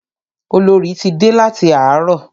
Olorì ti dé láti àárọ̀.